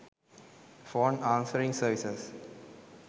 phone answering services